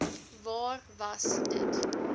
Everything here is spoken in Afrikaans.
waar was dit